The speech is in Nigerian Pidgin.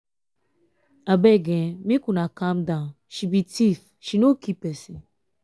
abeg make una calm down she be thief she no kill person.